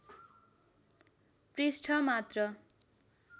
पृष्ठ मात्र